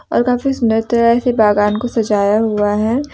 और काफी सुंदर तरह से बागान को सजाया हुआ है।